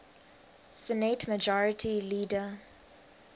senate majority leader